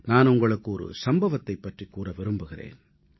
நான் உங்களுக்கு ஒரு சம்பவத்தைப் பற்றிக் கூற விரும்புகிறேன்